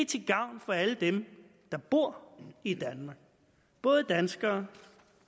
til gavn for alle dem der bor i danmark både danskere